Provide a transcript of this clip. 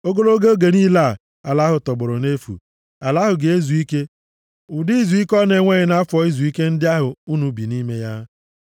Ogologo oge niile ala ahụ tọgbọrọ nʼefu, ala ahụ ga-ezu ike, ụdị izuike ọ na-enweghị nʼafọ izuike ndị ahụ unu bi nʼime ya.